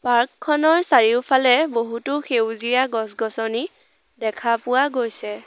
Park খনৰ চাৰিওফালে বহুতো সেউজীয়া গছ-গছনি দেখা পোৱা গৈছে।